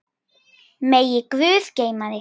Megi guð geyma þig.